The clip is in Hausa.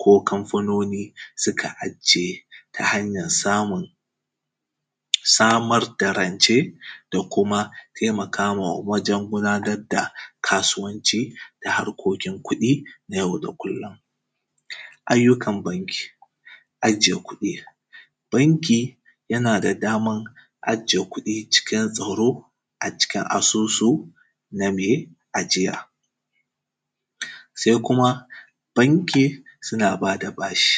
ko kamfanoni suka ajiye, ta hanyan samun; samar da rance da kuma temaka ma wajen gudanad da kasuwanci da harkokin kuɗi na yau da kullun. Ayyukan banki, ajiye kuɗi, banki yana da daman ajiye kuɗi cikin tsaro a cikin asusu na me ajiya. Se kuma, banki, suna ba da bashi,